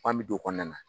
An bɛ don o kɔnɔna na